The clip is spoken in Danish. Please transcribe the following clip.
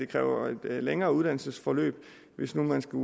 kræver et længere uddannelsesforløb hvis man skal